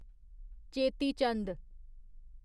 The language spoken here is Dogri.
चेती चंद